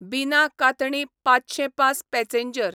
बिना–कातणी ५०५ passenger